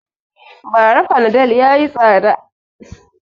Ba ra fanadol yayi tsada